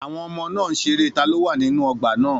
Àwọn ọmọ náà ń ṣeré taló wà nínú ọgbà náà